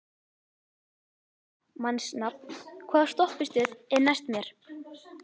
Kort (mannsnafn), hvaða stoppistöð er næst mér?